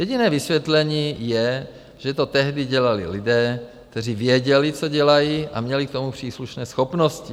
Jediné vysvětlení je, že to tehdy dělali lidé, kteří věděli, co dělají, a měli k tomu příslušné schopnosti.